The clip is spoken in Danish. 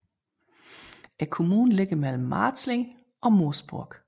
Kommunen ligger mellem Marzling og Moosburg